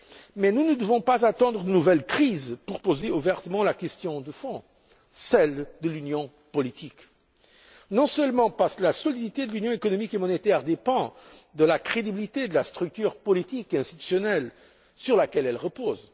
Mais nous ne devons pas attendre de nouvelles crises pour poser ouvertement la question de fond, celle de l'union politique Non seulement parce que la solidité de l'union économique et monétaire dépend de la crédibilité de la structure politique et institutionnelle sur laquelle elle repose.